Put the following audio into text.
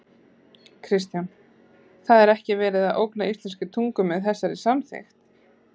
Kristján: Það er ekki verið að ógna íslenskri tungu með þessari samþykkt?